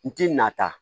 N ti na ta